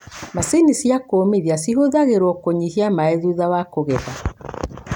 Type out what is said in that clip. Macini cia kũmithia cihũthagĩrwo kũnyihia maĩ thutha wa kũgetha.